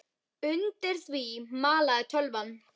Undir því malaði tölvan.